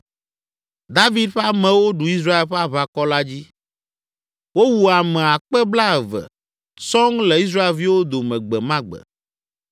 David ƒe amewo ɖu Israel ƒe aʋakɔ la dzi. Wowu ame akpe blaeve (20,000) sɔŋ le Israelviwo dome gbe ma gbe.